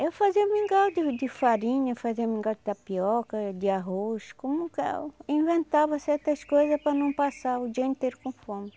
Eu fazia mingau de de farinha, fazia mingau de tapioca, de arroz, como que eu inventava certas coisas para não passar o dia inteiro com fome.